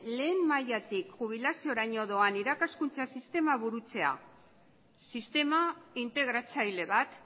lehen mailatik jubilazioraino doan irakaskuntza sistema burutzea sistema integratzaile bat